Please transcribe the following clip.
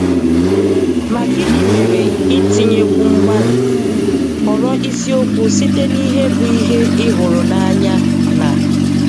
Ma gịnị mere ịtinyekwu Mgbalị? Họrọ isiokwu site na ihe bụ ihe ị hụrụ n'anya na.